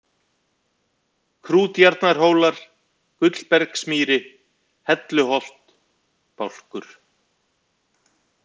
Krútjarnarhólar, Gullbergsmýri, Helluholt, Bálkur